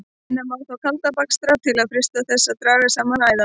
Reyna má þó kalda bakstra til að freista þess að draga saman æðarnar.